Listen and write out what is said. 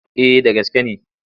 Eh da gaske ne.